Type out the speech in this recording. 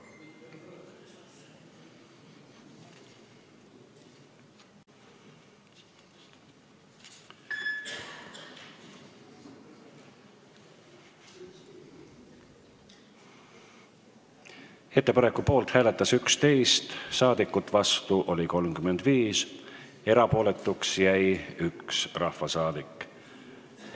Hääletustulemused Ettepaneku poolt hääletas 11 ja vastu oli 35 rahvasaadikut, 1 rahvasaadik jäi erapooletuks.